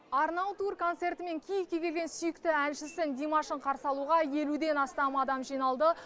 арнау тур концертімен киевке келген сүйікті әншісі димашын қарсы алуға елуден астам адам жиналды